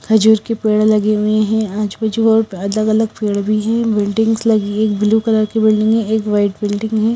खजूर के पेड़ लगे हुए हैं आजू बाजू बहुत अलग अलग पेड़ भी हैं बिल्डिंगस लगी है एक ब्लू कलर की बिल्डिंग है एक व्हाइट बिल्डिंग है।